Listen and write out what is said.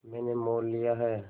मैंने मोल लिया है